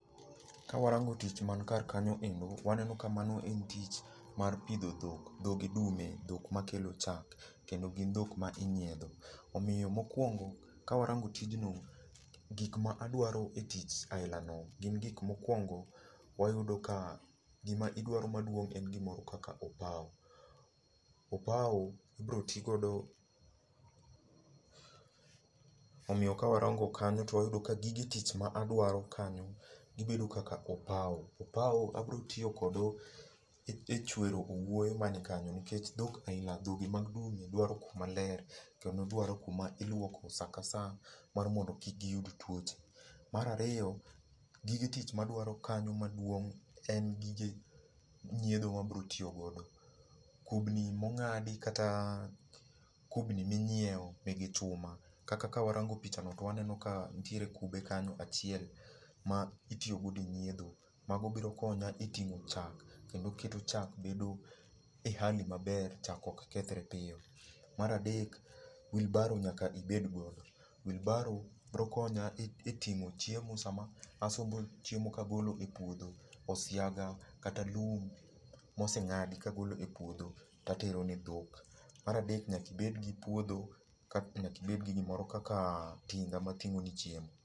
Ka warango tich man kar kanyo endo, waneno ka mano en tich mar pidho dhok, dhog dume, dhok makelo chak. Kendo gin dhok ma inyiedho, Omiyo mokuongo, ka warango tijno, gik ma adwaro e tich aila no gin gik mokuongo wayudo ka gima idwaro maduong' en gimoro kaka opao. Opao ibiro ti godo .Omiyo ka warango kanyo to wayudo ka gige tich ma adwaro kanyo gibedo kaka opao. Opao abiro tiyo godo e chwero owuoyo man kanyo nikech dhok aila dhogi mag dume dwaro kuma ler kendo dwaro iluoko saa ka saa mar mondo kik giyud tuoche. Mar ariyo, gige tich ma adwaro kanyo maduong' en gige nyiedho ma abiro tiyo godo. Kubni mong'adi kata kubni minyiewo nigi chuma. Kaka kawarango picha no waneno ka nitiere kube kanyo achiel ma itiyogodo e nyiedho. Mago biro konya e ting'o chak. Kendo keto chak bedo e hali maber, chak ok kethre piyo. Mar adek, wheelbarrow nyaka ibed go. Wheelbarrow biro konya e ting'o chiemo sama asombo chiemo ka agolo e puodho. Osiaga kata lum moseng'adi kagolo e puodho tatero ne dhok. Mar adek nyaka ibed gi puodho kasto nyaka ibed gi gimoro kaka tinga ma ting'o ni chiemo.